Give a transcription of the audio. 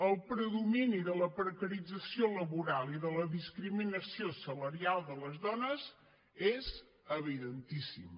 el predomini de la precarització laboral i de la discriminació salarial de les dones és evidentíssim